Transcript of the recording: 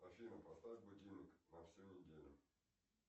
афина поставь будильник на всю неделю